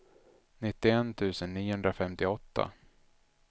nittioett tusen niohundrafemtioåtta